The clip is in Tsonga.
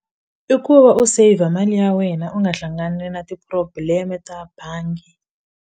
I ku va u saver mali ya wena u nga hlangani na ti-problem-e ta bangi.